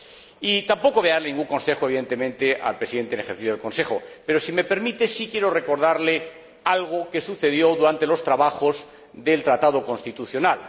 Y tampoco voy a darle ningún consejo, evidentemente, al Presidente en ejercicio del Consejo, pero, si me permite, sí quiero recordarle algo que sucedió durante los trabajos del Tratado constitucional.